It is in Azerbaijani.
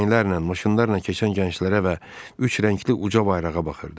Fişənglərlə, maşınlarla keçən gənclərə və üç rəngli uca bayrağa baxırdı.